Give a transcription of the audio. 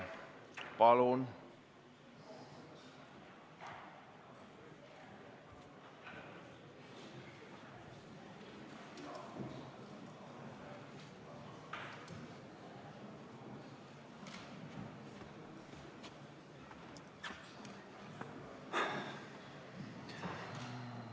Palun!